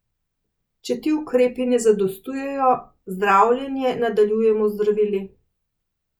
Če ti ukrepi ne zadostujejo, zdravljenje nadaljujemo z zdravili.